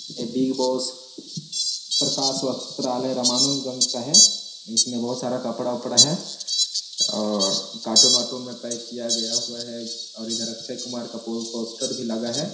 ये बिगबॉस प्रकाश वस्त्रालय रमानुजगंज का है इसमें बहुत सारा कपड़ा-वपडा कार्टून वार्टून में पैक किया गया हुआ है और इधर अक्षय कुमार का पो पोस्टर भी लगा हुआ है।